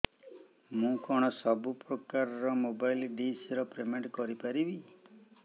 ମୁ କଣ ସବୁ ପ୍ରକାର ର ମୋବାଇଲ୍ ଡିସ୍ ର ପେମେଣ୍ଟ କରି ପାରିବି